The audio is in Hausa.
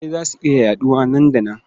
Kyankyasai za su iya yaɗuwa nan da nan.